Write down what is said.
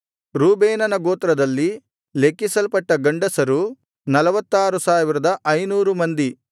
ರೂಬೇನನ ಗೋತ್ರದಲ್ಲಿ ಲೆಕ್ಕಿಸಲ್ಪಟ್ಟ ಗಂಡಸರು 46500 ಮಂದಿ